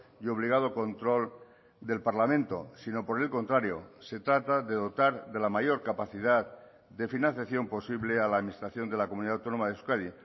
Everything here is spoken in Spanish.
y obligado control del parlamento sino por el contrario se trata de dotar de la mayor capacidad de financiación posible a la administración de la comunidad autónoma de euskadi